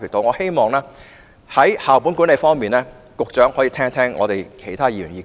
我希望在校本管理方面，局長可以聽聽其他議員的意見。